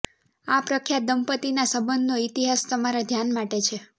આ પ્રખ્યાત દંપતિના સંબંધનો ઇતિહાસ તમારા ધ્યાન માટે છે